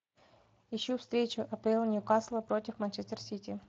ищу встречу апл ньюкасла против манчестер сити